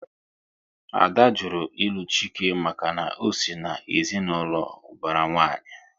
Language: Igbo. Ada jụrụ ilu Chike maka na ọ sị na ezinaụlọ ubara nwanyi